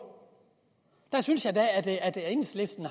der synes jeg da at enhedslisten